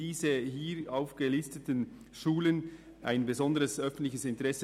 Die hier aufgelisteten Schulen sind von einem besonderen öffentlichen Interesse.